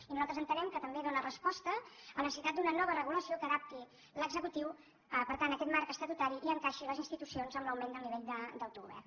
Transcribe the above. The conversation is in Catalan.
i nosaltres entenem que també dóna resposta a la necessitat d’una nova regulació que adapti l’executiu per tant a aquest marc estatutari i encaixi les institucions amb l’augment del nivell d’autogovern